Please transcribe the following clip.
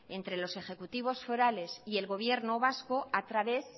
entre los ejecutivos forales y el gobierno vasco a través